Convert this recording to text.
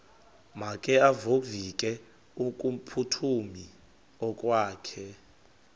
makevovike kumphuthumi okokwakhe